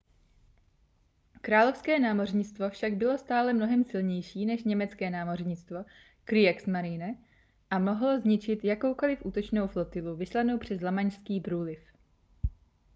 královské námořnictvo však bylo stále mnohem silnější než německé námořnictvo kriegsmarine a mohlo zničit jakoukoli útočnou flotilu vyslanou přes lamanšský průliv